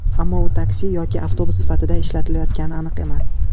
Ammo u taksi yoki avtobus sifatida ishlatilayotgani aniq emas.